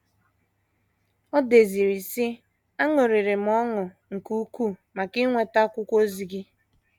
O deziri, sị: “ Aṅụrịrị m ọṅụ nke ukwuu maka inweta akwụkwọ ozi gị.